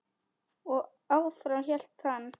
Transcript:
Og áfram hélt hann.